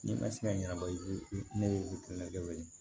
N'i ma se ka ɲɛnabɔ i ka na kɛ